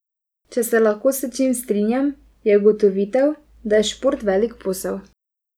Če se lahko s čim strinjam, je ugotovitev, da je šport velik posel.